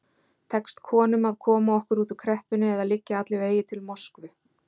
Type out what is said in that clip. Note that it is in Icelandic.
Tekst konum að koma okkur út úr kreppunni eða liggja allir vegir til Moskvu?